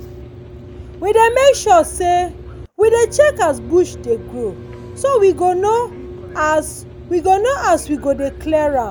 we dey make sure sey we dey check as bush dey grow so we go know as know as we go dey clear am.